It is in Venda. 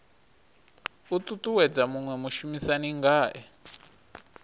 u ṱuṱuwedza muṅwe mushumisani ngae